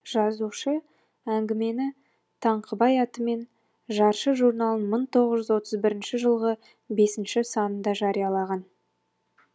жазушы әңгімені таңқыбай атымен жаршы журналының мың тоғыз жүз отыз бірінші жылғы бесінші санында жариялаған